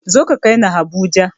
Zo ka kaini habuja!